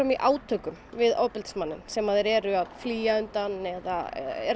í átökum við ofbeldismanninn sem þeir eru að flýja undan eða